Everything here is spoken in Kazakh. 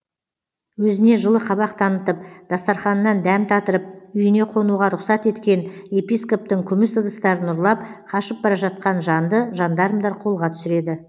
өзіне жылы қабақ танытып дастарханынан дәм татырып үйіне қонуға рұқсат еткен епископтың күміс ыдыстарын ұрлап қашып бара жатқан жанды жандармдар қолға түсіреді